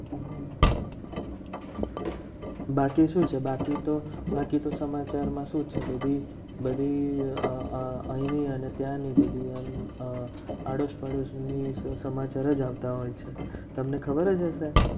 બાકી શું છે બાકી તો બાકી તો સમાચારમાં શું છે. બધી બધી અમ અને ત્યાંની બધી આળસ પાડોશી ની સમાચાર જ આવતા હોય છે. તમને ખબર જ હશે.